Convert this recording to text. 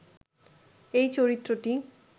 এই চরিত্রটি